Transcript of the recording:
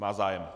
Má zájem.